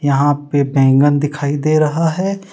यहाँ पे बैंगन दिखाई दे रहा है।